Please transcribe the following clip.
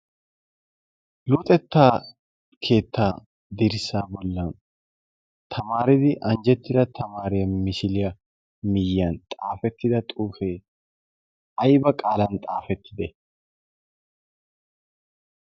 luxettaa keettaa dirssa bollan tamaaridi anjjettida tamaariya misiliyaa miyyan xaafettida xuufee ayba qaalan xaafettide